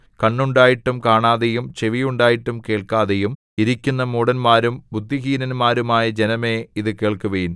കണ്ണുണ്ടായിട്ടും കാണാതെയും ചെവി ഉണ്ടായിട്ടും കേൾക്കാതെയും ഇരിക്കുന്ന മൂഢന്മാരും ബുദ്ധിഹീനന്മാരുമായ ജനമേ ഇതുകേൾക്കുവിൻ